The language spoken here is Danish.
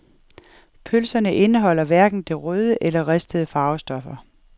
Pølserne indeholder hverken de røde eller ristede farvestoffer.